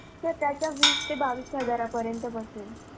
Sir त्याचा वीस ते बावीस हजारापर्यंत बसेल.